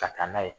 Ka taa n'a ye